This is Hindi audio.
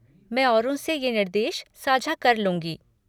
मैं औरों से ये निर्देश साझा कर लूँगी।